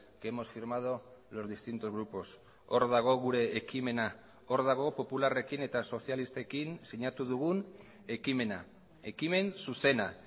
que hemos firmado los distintos grupos hor dago gure ekimena hor dago popularrekin eta sozialistekin sinatu dugun ekimena ekimen zuzena